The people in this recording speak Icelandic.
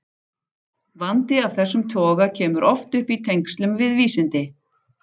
Vandi af þessum toga kemur oft upp í tengslum við vísindi.